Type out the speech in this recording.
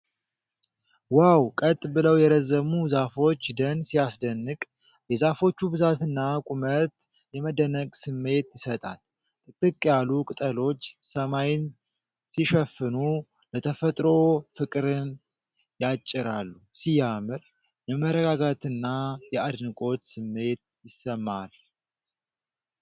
ዋው! ቀጥ ብለው የረዘሙ ዛፎች ደን ሲያስደንቅ! የዛፎቹ ብዛትና ቁመት የመደነቅ ስሜት ይሰጣል። ጥቅጥቅ ያሉ ቅጠሎች ሰማይን ሲሸፍኑ፣ ለተፈጥሮ ፍቅርን ያጭራሉ። ሲያምር! የመረጋጋትና የአድናቆት ስሜት ይሰማል።